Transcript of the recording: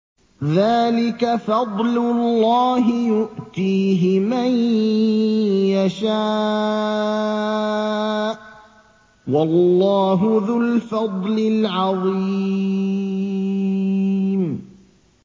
ذَٰلِكَ فَضْلُ اللَّهِ يُؤْتِيهِ مَن يَشَاءُ ۚ وَاللَّهُ ذُو الْفَضْلِ الْعَظِيمِ